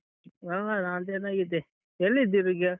ಆ ನಾನ್ ಚೆನ್ನಾಗಿದ್ದೆ ಎಲ್ಲಿದ್ದೀರಿಗ?